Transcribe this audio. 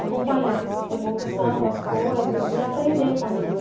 acompanhar a evolução das coisas e aprender com aquilo.